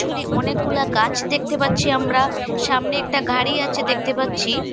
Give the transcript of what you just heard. এখানে অনেকগুলা গাছ দেখতে পাচ্ছি আমরা সামনে একটা ঘাড়ি আছে দেখতে পাচ্ছি।